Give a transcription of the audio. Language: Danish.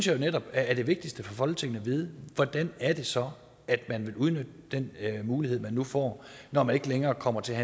jo netop er det vigtigste for folketinget at vide hvordan er det så at man vil udnytte den mulighed man nu får når der ikke længere kommer til at